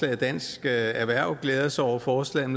at dansk erhverv glæder sig over forslaget